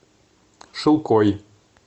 шилкой